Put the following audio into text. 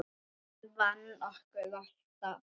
Hann vann okkur alltaf.